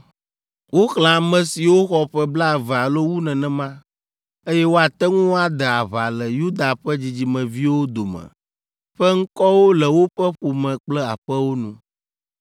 Woxlẽ ame siwo xɔ ƒe blaeve alo wu nenema, eye woate ŋu ade aʋa le Yuda ƒe dzidzimeviwo dome ƒe ŋkɔwo le woƒe ƒome kple aƒewo nu.